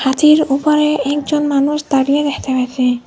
হাতির উপরে একজন মানুষ দাঁড়িয়ে দেখতে পাচ্ছি।